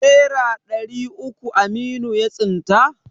Nera ɗari uku Aminu ya tsinta?